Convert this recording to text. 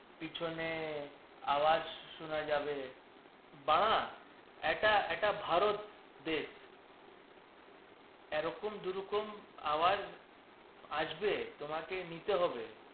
পিছনে আওয়াজ শোনা যাবে বাহ্ এটা, এটা ভারত দেশ। এরকম দু রকম আওয়াজ আসবে তোমাকে নিতে হবে